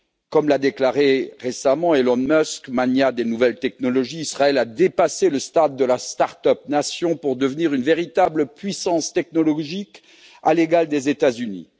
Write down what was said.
Comme l'a déclaré récemment Elon Musk, magnat des nouvelles technologies, Israël a dépassé le stade de la start up nation pour devenir une véritable puissance technologique à l'égal des États Unis.